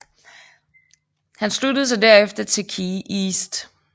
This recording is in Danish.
Hun sluttede sig derefter til KeyEast